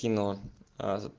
кино